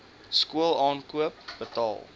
skool aankoop betaal